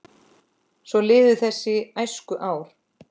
Svo liðu þessi æskuár.